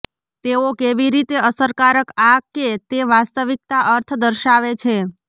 તેઓ કેવી રીતે અસરકારક આ કે તે વાસ્તવિકતા અર્થ દર્શાવે છે